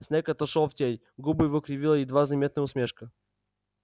снегг отошёл в тень губы его кривила едва заметная усмешка